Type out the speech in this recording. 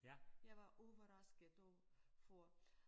Jeg var overrasket og for